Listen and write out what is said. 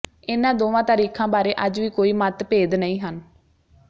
ਇਨ੍ਹਾਂ ਦੋਵਾਂ ਤਾਰੀਖਾਂ ਬਾਰੇ ਅੱਜ ਵੀ ਕੋਈ ਮੱਤ ਭੇਦ ਨਹੀ ਹਨ